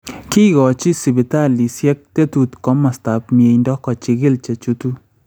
Kikochi sibitaalisyek tetuut komostaab myeindo kochilchi chechuutu